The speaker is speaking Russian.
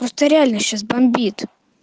просто реально сейчас бомбит